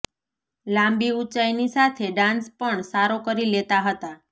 લાંબી ઉચાંઈની સાથે ડાન્સ પણ સારો કરી લેતા હતાં